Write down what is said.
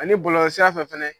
Ani bɔlɔlɔsira fɛ fɛnɛ